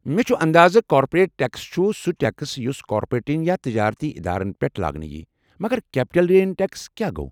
مےٚ چھُ اندازٕ کارپوریٹ ٹٮ۪کس چھُ سہُ ٹٮ۪کس یُس کارپوریٹن یا تجارتی ادارن پٮ۪ٹھ لاگنہٕ ییہِ، مگر کیپٹل گین ٹٮ۪کس کیٛاہ گوٚو؟